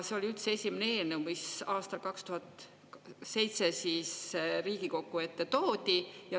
See oli üldse esimene eelnõu, mis aastal 2007 Riigikogu ette toodi.